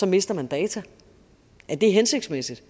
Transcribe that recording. mister man data er det hensigtsmæssigt